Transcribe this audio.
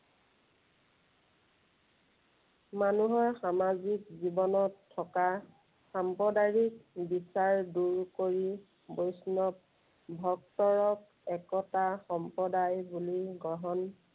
মানুহৰ সামাজিৰ জীৱনত থকা সাম্প্ৰদায়িক বিচাৰ দূৰ কৰি বৈষ্ণৱ ভক্তক একতা সম্প্ৰদায় বুলি গ্ৰহণ